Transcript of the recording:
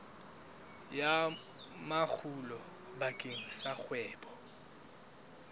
ya makgulo bakeng sa kgwebo